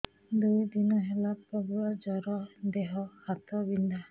ଦୁଇ ଦିନ ହେଲା ପ୍ରବଳ ଜର ଦେହ ହାତ ବିନ୍ଧା